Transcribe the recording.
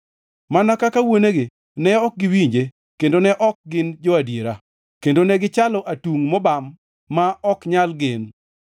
Mana kaka wuonegi ne ok giwinje kendo ne ok gin jo-adiera kendo ne gichalo atungʼ mobam ma ok nyal gen.